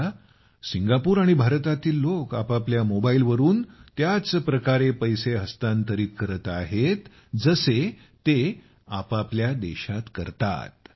आता सिंगापूर आणि भारतातील लोक आपापल्या मोबाईलवरून त्याच प्रकारे पैसे हस्तांतरित करत आहेत जसे ते आपल्या देशांतर्गत करत होते